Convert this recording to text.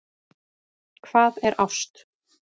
Hvað er ást